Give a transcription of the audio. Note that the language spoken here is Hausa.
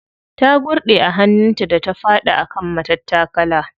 Ta gurɗe a hannun ta da ta faɗi a kan matattakala.